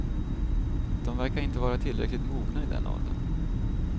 De verkar inte vara tillräckligt mogna i den åldern.